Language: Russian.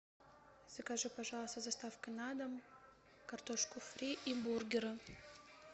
закажи пожалуйста с доставкой на дом картошку фри и бургеры